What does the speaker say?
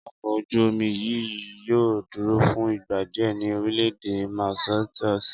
Ọkọ̀ ojú-omi yìí yóò dúró fún ìgbà díẹ̀ ní orílẹ̀ èdè Mauritius